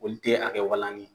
Olu te a kɛ walanni ye